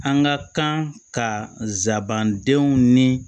An ka kan ka sabanan denw ni